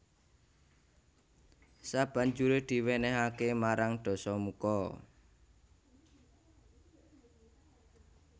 Sabanjuré diwenehake marang Dasamuka